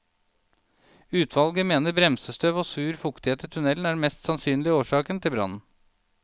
Utvalget mener bremsestøv og sur fuktighet i tunnelen er den mest sannsynlige årsakene til brannen.